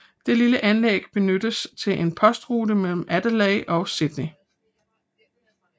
Det lille anlæg benyttedes til en postrute mellem Adelaide og Sydney